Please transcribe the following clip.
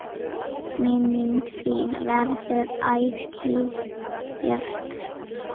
Minning þín verður ætíð björt.